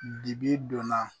Dibi donna